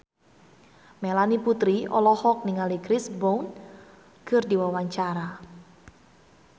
Melanie Putri olohok ningali Chris Brown keur diwawancara